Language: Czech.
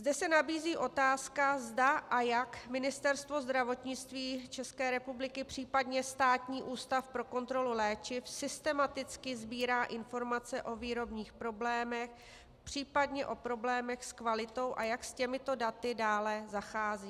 Zde se nabízí otázka, zda a jak Ministerstvo zdravotnictví České republiky, případně Státní ústav pro kontrolu léčiv, systematicky sbírá informace o výrobních problémech, případně o problémech s kvalitou, a jak s těmito daty dále zachází.